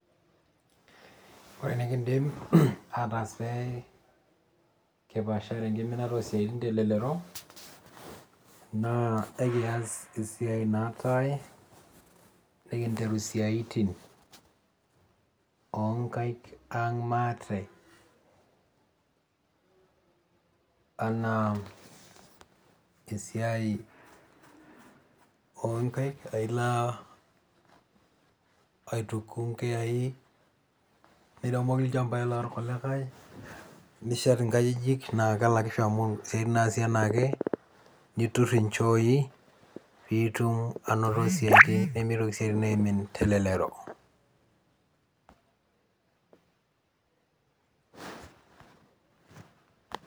Ore enekiidim ataas pee kipaashare enkiminata oosiaitin telelero naa akias esiai naatai nikinteru isiatin oonkaik ang' maate enaa esiai oonkaik ailo aituku inkiyai, niremoki ilchambai lorkulikai nishet inkajijik naa kelakisho amu isiaitin naasi enaake, niturr inchooi piitum anoto isiatin pee mitoki isiaitin aimin telelero.